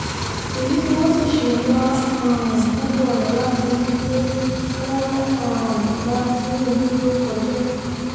èyí ni wọ́n sì ṣe ń wá um gbogbo ọ̀nà láti rí i pé wọ́n um ba tinúbù lórúkọ jẹ́